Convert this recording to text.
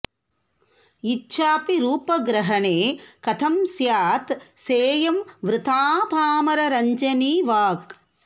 इच्छाऽपि रूपग्रहणे कथं स्यात् सेयं वृथा पामररञ्जनी वाक्